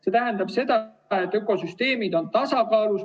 See tähendab, et ökosüsteemid on tasakaalus.